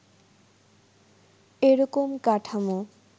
এ রকম কাঠামো